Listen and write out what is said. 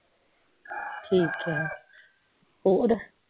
ਠੀਕ ਹੈ ਔਰ